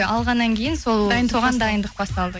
алғаннан кейін сол соған дайындық басталды